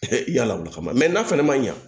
i y'a lawuli kama n'a fɛnɛ ma ɲɛ